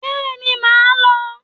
Bẹ́ẹ̀ni màá lọ